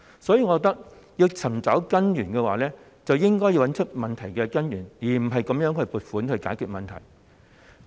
所以，我認為若要解決問題，便應該找出問題根源，而不是用撥款來解決。